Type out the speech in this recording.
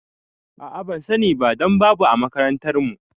A'a bansani ba dan babu a makarantar mu